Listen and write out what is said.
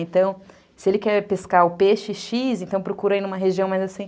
Então, se ele quer pescar o peixe xis, então procura ir numa região mais assim.